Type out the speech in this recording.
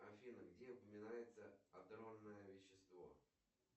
афина где упоминается адронное вещество